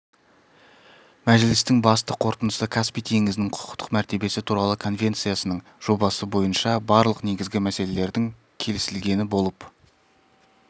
мәжілістің басты қорытындысы каспий теңізінің құқықтық мәртебесі туралы конвенциясының жобасы бойынша барлық негізгі мәселелердің келісілгені болып